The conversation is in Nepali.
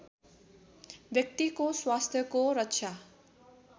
व्यक्तिको स्वास्थ्यको रक्षा